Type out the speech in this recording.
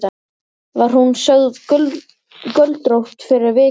Var hún sögð göldrótt fyrir vikið.